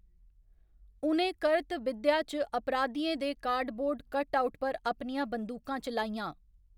उ'नें करत विद्या च अपराधियें दे कार्डबोर्ड कटआउट पर अपनियां बंदूकां चलाइयां।